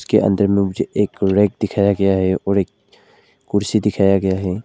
के अंदर मुझे एक रैक दिखाया गया है और एक कुर्सी दिखाया गया है।